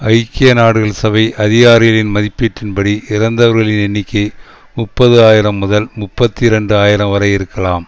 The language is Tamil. ஐக்கிய நாடுகள் சபை அதிகாரிகளின் மதிப்பீட்டின் படி இறந்தவர்களின் எண்ணிக்கை முப்பது ஆயிரம் முதல் முப்பத்தி இரண்டு ஆயிரம் வரை இருக்கலாம்